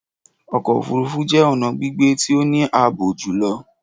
Ọkọ ofurufu jẹ ọna gbigbe ti o ni aabo julọ.